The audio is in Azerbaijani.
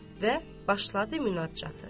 Və başladı münacatı.